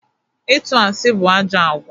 Ịtụ asị bụ ajọ àgwà.